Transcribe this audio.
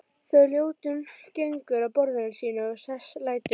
Þegar Ljótunn gengur að borðinu sínu og sest lætur